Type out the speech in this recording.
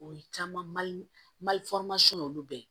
O ye caman ye olu bɛɛ